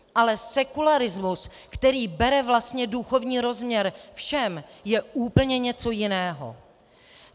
Ale sekularismus, který bere vlastně duchovní rozměr všem, je úplně něco jiného.